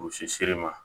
Usi seriman